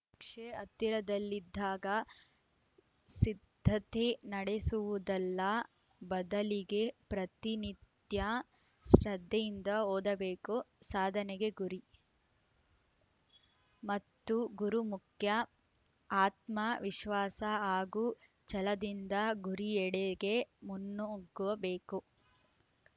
ಪರೀಕ್ಷೆ ಹತ್ತಿರದಲ್ಲಿದ್ದಾಗ ಸಿದ್ದತೆ ನಡೆಸುವುದಲ್ಲ ಬದಲಿಗೆ ಪ್ರತಿನಿತ್ಯ ಶ್ರದ್ಧೆಯಿಂದ ಓದಬೇಕು ಸಾಧನೆಗೆ ಗುರಿ ಮತ್ತು ಗುರು ಮುಖ್ಯ ಆತ್ಮ ವಿಶ್ವಾಸ ಹಾಗೂ ಛಲದಿಂದ ಗುರಿಯೆಡೆಗೆ ಮುನ್ನುಗ್ಗಬೇಕು